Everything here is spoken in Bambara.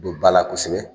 Don ba la kosɛbɛ